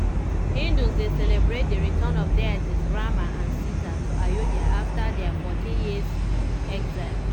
hindus dey celebrate di return of deities rama and sita to ayodhya afta dia 14-year exile.